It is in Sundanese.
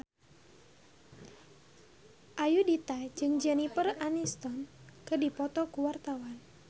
Ayudhita jeung Jennifer Aniston keur dipoto ku wartawan